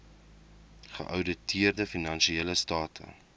geouditeerde finansiële state